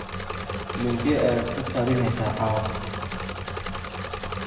filimkee ayaad ku talinaysaa caawa